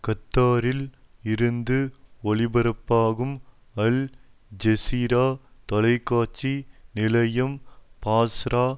கத்தாரில் இருந்து ஒளிபரப்பாகும் அல் ஜெசிரா தொலைக்காட்சி நிலையம் பாஸ்ரா